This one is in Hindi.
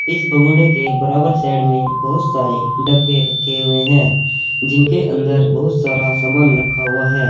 इस भगोड़े के बराबर साइड में बहुत सारे डब्बे रखे हुए हैं जिनके अंदर बहुत सारा सामान रखा हुआ है।